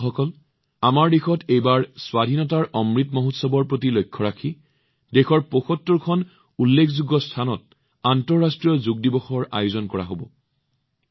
বন্ধুসকল এইবাৰ আমাৰ দেশত অমৃত মহোৎসৱৰ সৈতে সংগতি ৰাখি দেশৰ ৭৫ টা বিশিষ্ট স্থানতো আন্তৰ্জাতিক যোগ দিৱসৰ আয়োজন কৰা হব